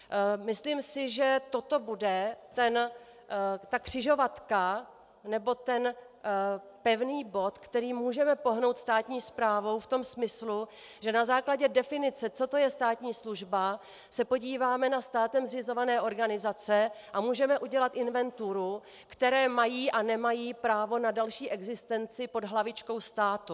Myslím si, že toto bude ta křižovatka nebo ten pevný bod, kterým můžeme pohnout státní správou v tom smyslu, že na základě definice, co to je státní služba, se podíváme na státem zřizované organizace a můžeme udělat inventuru, které mají a nemají právo na další existenci pod hlavičkou státu.